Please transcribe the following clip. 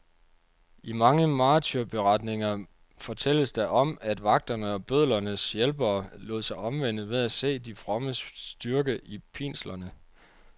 I mange martyrberetninger fortælles der om, at vagterne og bødlernes hjælpere lod sig omvende ved at se de frommes styrke i pinslerne.